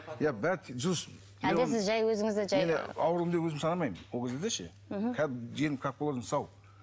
иә әлде сіз жай өзіңізді жай аурумын деп өзімді санамаймын ол кездерде ше мхм қазір денім как положено сау